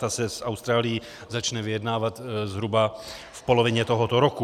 Ta se s Austrálií začne vyjednávat zhruba v polovině tohoto roku.